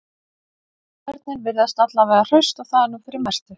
Börnin virðast alla vega hraust og það er nú fyrir mestu